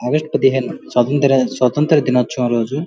August పదిహేను స్వాతంత్ర స్వాతంత్ర దినోత్సవం రోజు--